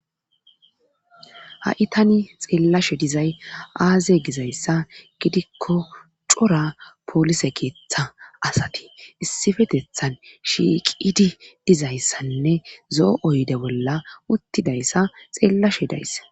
ha7i tani xeellashe dizay aaze gizayssa gidikko cora polise keeththa asati issifetethan shiiqidi dizayssanne zo7o7oyde bolla uttidayssa xeellashe dayssa